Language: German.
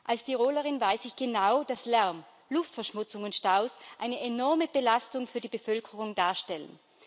Als Tirolerin weiß ich genau, dass Lärm, Luftverschmutzung und Staus eine enorme Belastung für die Bevölkerung darstellen.